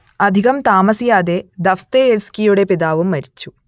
അധികം താമസിയാതെ ദസ്തയേവ്സ്കിയുടെ പിതാവും മരിച്ചു